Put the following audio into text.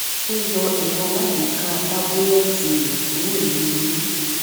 ó yọ ẹrọ alágbèéká tábúlẹẹtì rẹ kúrò nínú iná